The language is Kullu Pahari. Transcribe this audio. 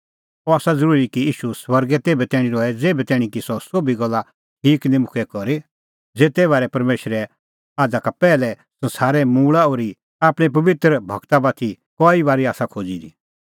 अह आसा ज़रूरी कि ईशू स्वर्गै तेभै तैणीं रहे ज़ेभै तैणीं कि सह सोभी गल्ला ठीक निं मुक्के करी ज़ेते बारै परमेशरै आझ़ा का पैहलै संसारे उत्पति ओर्ही आपणैं पबित्र गूरा बाती कई बारी आसा खोज़ी दी